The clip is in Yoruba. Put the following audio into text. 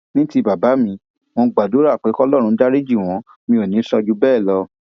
ní ti bàbá mi mo gbàdúrà pé kọlọrun dariji wọn mi ò ní í sọ jù bẹẹ lọ